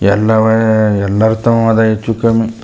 ಎಲ್ಲಾವೆ ಎಲ್ಲರು ತಮ್ಮದೆ ಹೆಚ್ಚು ಕಮ್ಮಿ .